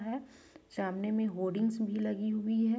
--है सामने में होर्डिंग्स भी लगी हुई है।